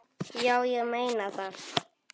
Já, ég meina það.